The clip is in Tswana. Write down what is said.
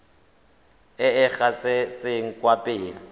e e gatetseng kwa pele